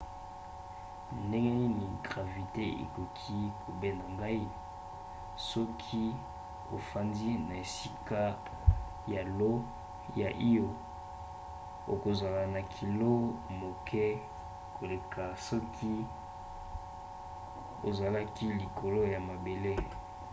ndenge nini gravite ekoki kobenda ngai? soki ofandi na esika ya io okozala na kilo moke koleka soki ozalaki likolo ya mabele